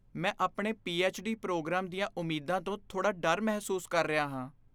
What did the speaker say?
ਮੈਂ ਆਪਣੇ PhD. Programme ਦੀਆਂ ਉਮੀਦਾਂ ਤੋਂ ਥੋੜ੍ਹਾ ਡਰ ਮਹਿਸੂਸ ਕਰ ਰਿਹਾ ਹਾਂ।